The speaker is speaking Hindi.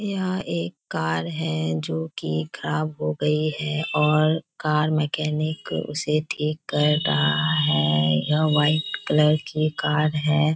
यह एक कार है जो की खराब हो गई है और कार मैकेनिक उसे ठीक कर रहा है और व्हाइट कलर की कार है।